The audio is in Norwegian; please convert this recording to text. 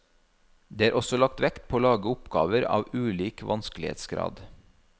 Det er også lagt vekt på å lage oppgaver av ulik vanskelighetsgrad.